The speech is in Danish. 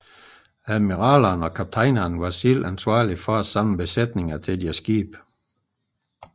Admiralerne og kaptajnerne var selv ansvarlige for at samle besætninger til deres skibe